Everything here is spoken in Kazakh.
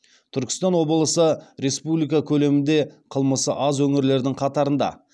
түркістан облысы республика көлемінде қылмысы аз өңірлердің қатарында